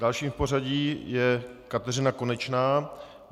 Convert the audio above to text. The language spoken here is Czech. Dalším v pořadí je Kateřina Konečná.